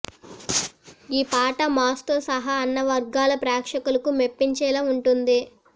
ఈ పాట మాస్తో సహా అన్ని వర్గాల ప్రేక్షకులను మెప్పించేలా ఉంటుంది